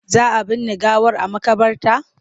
Za a binne gawar a maƙabarta?